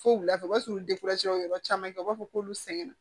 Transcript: Fo wulafɛ o b'a sɔrɔ yɔrɔ caman kɛ u b'a fɔ k'olu sɛgɛnna